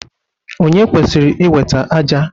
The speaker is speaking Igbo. Ònye kwesịrị iweta ájá?